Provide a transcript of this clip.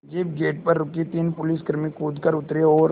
jeep gate पर रुकी तीन पुलिसकर्मी कूद कर उतरे और